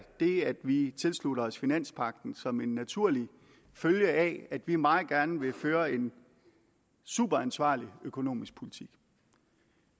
det at vi tilslutter os finanspagten som en naturlig følge af at vi meget gerne vil føre en superansvarlig økonomisk politik